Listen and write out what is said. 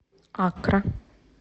аккра